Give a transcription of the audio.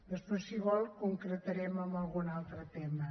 després si vol concretarem en algun altre tema